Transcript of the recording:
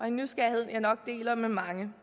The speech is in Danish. en nysgerrighed jeg nok deler med mange